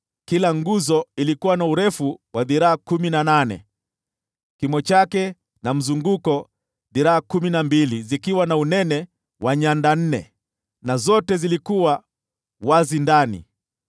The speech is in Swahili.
Kila nguzo ilikuwa na urefu wa dhiraa kumi na nane, kimo chake na mzunguko dhiraa kumi na mbili, na unene wa nyanda nne, na zote zilikuwa wazi ndani.